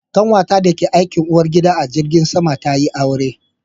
Ƙanwata da ta ke aikin uwar gida a jirgin sama ta yi aure